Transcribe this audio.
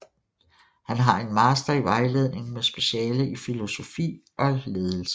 Han har en master i vejledning med speciale i filosofi og ledelse